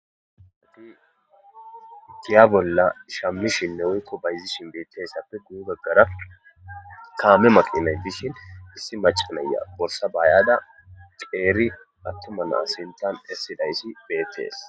adi itiya bolla shammishinne woykko bayzi shin beetessappe guu gaggara kaame maqinaytishin issi macanaya borsa baayada qeeri attoma nasintan essidayssi beettees